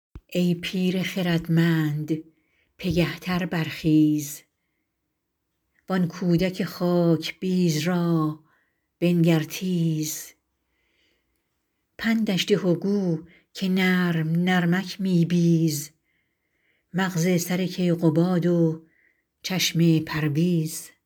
ای پیر خردمند پگه تر برخیز وآن کودک خاکبیز را بنگر تیز پندش ده گو که نرم نرمک می بیز مغز سر کیقباد و چشم پرویز